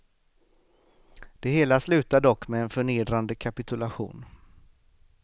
Det hela slutar dock med en förnedrande kapitulation.